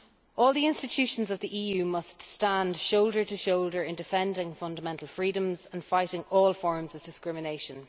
All the institutions of the EU must stand shoulder to shoulder in defending fundamental freedoms and fighting all forms of discrimination.